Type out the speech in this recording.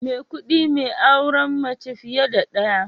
Maikudi mai auren mace fiye da daya